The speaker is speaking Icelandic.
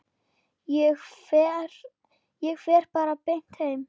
Ég fer bara beint heim.